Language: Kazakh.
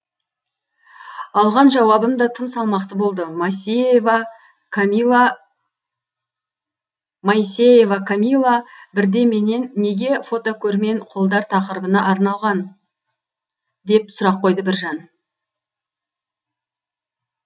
алған жауабым да тым салмақты болды моисеева камила бірде менен неге фотокөрмен қолдар тақырыбына арналған деп сұрақ қойды бір жан